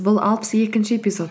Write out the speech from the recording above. бұл алпыс екінші эпизод